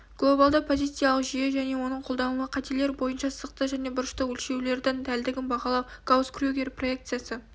глобалды позициялық жүйе және оның қолданылуы қателер бойынша сызықтық және бұрыштық өлшеулердің дәлдігін бағалау гаусс-крюгер проекциясы